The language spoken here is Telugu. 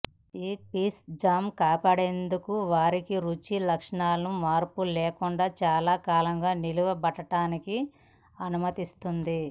ఈ పీచ్ జామ్ కాపాడేందుకు వారి రుచి లక్షణాలను మార్పు లేకుండా చాలా కాలం నిలబడటానికి అనుమతిస్తుంది